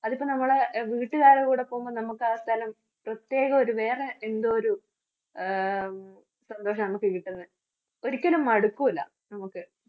അത് ഇപ്പം നമ്മള് വീട്ടുകാരുടെ കൂടെ പോകുമ്പോൾ നമുക്ക് ആ സ്ഥലം പ്രത്യേകം ഒരു വേറെ എന്തോ ഒരു ആഹ് ഒരിക്കലും മടുക്കൂല്ല നമുക്ക്